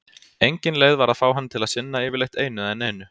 Engin leið var að fá hann til að sinna yfirleitt einu eða neinu.